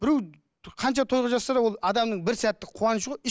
біреу қанша той қылып жатса да ол адамның бір сәттік қуанышы ғой